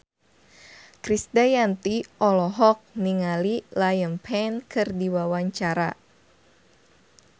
Krisdayanti olohok ningali Liam Payne keur diwawancara